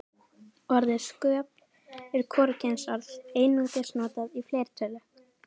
Orðið sköp er hvorugkynsorð, einungis notað í fleirtölu.